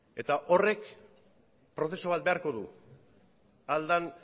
eta horrek prozesu bat beharko du ahal den